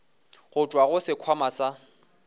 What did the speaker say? go tšwa go sekhwama sa